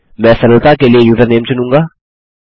मैं सरलता के लिए यूजरनेम चुनूँगा